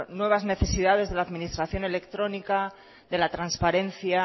nuevas necesidades de la administración electrónica de la transparencia